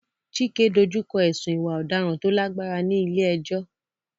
Chike dojú kọ ẹ̀sùn ìwà ọ̀daràn tó lágbára ní ilé ẹjọ́.